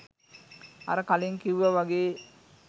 අර කලින් කිව්ව වගේ